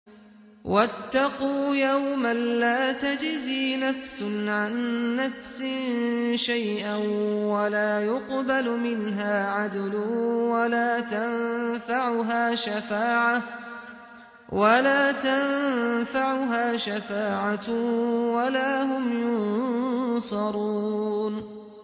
وَاتَّقُوا يَوْمًا لَّا تَجْزِي نَفْسٌ عَن نَّفْسٍ شَيْئًا وَلَا يُقْبَلُ مِنْهَا عَدْلٌ وَلَا تَنفَعُهَا شَفَاعَةٌ وَلَا هُمْ يُنصَرُونَ